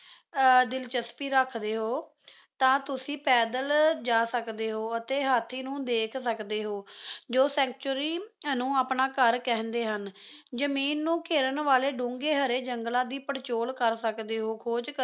ਤਾਂ ਤੁਸੀਂ ਪੈਦਲ ਜਾ ਸਕਦੇ ਹੋ ਅਤੇ ਹਾਥੀ ਨੂੰ ਦੇਕੁਝ ਸਕਦੇ ਹੋ ਜੋ ਸੇੰਚੁਰੀ ਨੂੰ ਆਪਣਾ ਘਰ ਕਹਿੰਦੇ ਹਨ ਜਮੀਨ ਨੂੰ ਘੇਰਨ ਵਾਲੇ ਡੂੰਘੇ ਹਰੇ ਜੰਗਲਾਂ ਦੀ ਪੜਚੋਲ ਕਰ ਸਕਦੇ ਹੋ ਖੋਜ